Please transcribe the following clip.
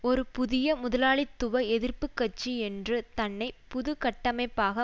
ஒரு புதிய முதலாளித்துவ எதிர்ப்பு கட்சி என்று தன்னை புது கட்டமைப்பாக